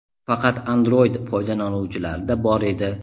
faqat Android foydalanuvchilarida bor edi.